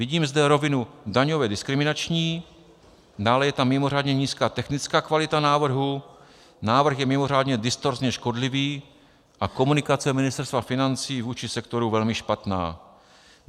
Vidíme zde rovinu daňově diskriminační, dále je tam mimořádně nízká technická kvalita návrhu, návrh je mimořádně distorzně škodlivý a komunikace Ministerstva financí vůči sektoru velmi špatná.